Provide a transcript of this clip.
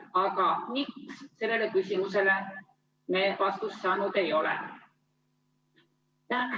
Aga miks, sellele küsimusele me vastust saanud ei ole.